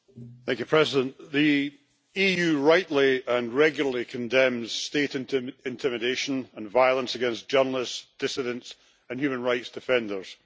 Mr President, the EU rightly and regularly condemns state intimidation and violence against journalists, dissidents and human rights defenders.